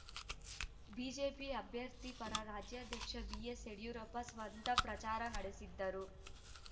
BJP ಅಭ್ಯರ್ಥಿ ಪರ ರಾಜ್ಯಾಧ್ಯಕ್ಷ ಬಿಎಸ್‌ಯಡಿಯೂರಪ್ಪ ಸ್ವತಃ ಪ್ರಚಾರ ನಡೆಸಿದ್ದರು